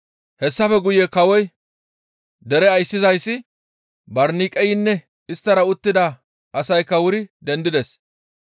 Hessafe guye kawoy, dere ayssizayssi, Barniqeynne isttara uttida asaykka wuri dendides.